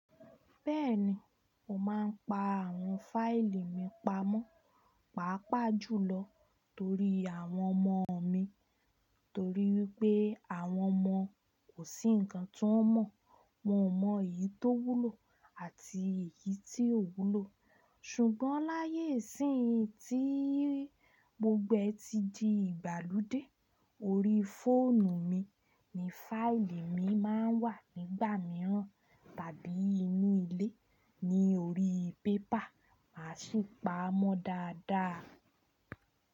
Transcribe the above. Bẹ́ẹ̀ni, mo máa ń pa àwọn fáìlì mi pamọ́, pàápàá jùlọ torí àwọn ọmọ mi. Torí wípé àwọn ọmọ kò sí ǹkan tí wọ́n mọ̀, wọ́n mọ èyí tó wúlò àti èyí tí ò wúlò. Ṣùgbọ́n láyé síì tí mo gbogbo ẹ́ ti di ìgbàlódé, orí fóònù mi ni fáìlì mi máa ń wà nígbà mìíràn tàbí inú ilé ní orí pépà, màá sì pa á mọ́ dáadáa.